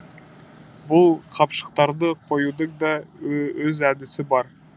бұл қапшықтарды қоюдың да өз әдісі бар